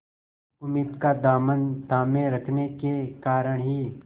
उम्मीद का दामन थामे रखने के कारण ही